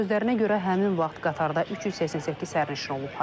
Onun sözlərinə görə həmin vaxt qatarda 388 sərnişin olub.